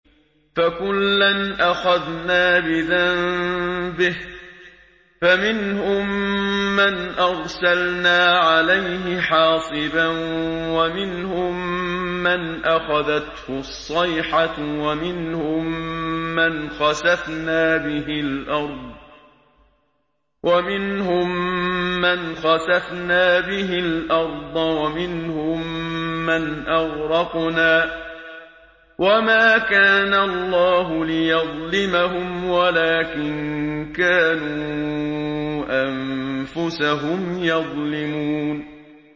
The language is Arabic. فَكُلًّا أَخَذْنَا بِذَنبِهِ ۖ فَمِنْهُم مَّنْ أَرْسَلْنَا عَلَيْهِ حَاصِبًا وَمِنْهُم مَّنْ أَخَذَتْهُ الصَّيْحَةُ وَمِنْهُم مَّنْ خَسَفْنَا بِهِ الْأَرْضَ وَمِنْهُم مَّنْ أَغْرَقْنَا ۚ وَمَا كَانَ اللَّهُ لِيَظْلِمَهُمْ وَلَٰكِن كَانُوا أَنفُسَهُمْ يَظْلِمُونَ